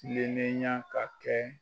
Kilenenyan ka kɛ.